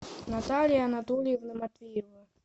наталья анатольевна матвеева